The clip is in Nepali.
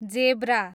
जेब्रा